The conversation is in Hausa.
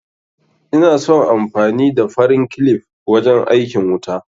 Ina son amfani da farin kilif wajen aikin wuta